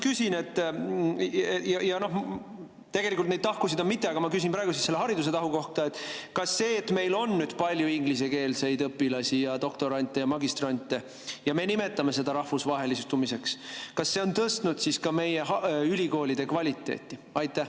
Neid tahkusid on mitu, aga ma küsin praegu selle haridustahu kohta: kas see, et meil on palju ingliskeelseid õpilasi, doktorante ja magistrante ning me nimetame seda rahvusvahelistumiseks, on tõstnud siis ka meie ülikoolide kvaliteeti?